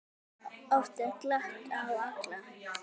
Oft er glatt á hjalla.